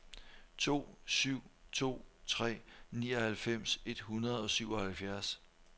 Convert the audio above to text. to syv to tre nioghalvfems et hundrede og syvoghalvfjerds